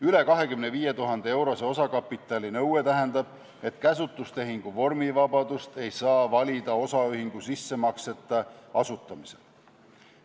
Üle 25 000 euro suuruse osakapitali nõue tähendab, et käsutustehingu vormivabadust ei saa valida osaühingu sissemakseta asutamisel.